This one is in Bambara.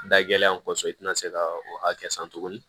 Da gɛlɛnya kɔsɔn i tɛna se ka o hakɛ san tuguni